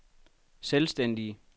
selvstændige